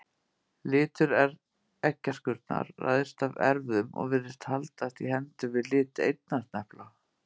Litur eggjaskurnar ræðst af erfðum og virðist haldast í hendur við lit eyrnasnepla.